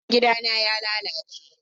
Hasken gidana ya lalace.